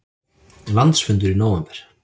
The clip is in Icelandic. Landsfundur í nóvember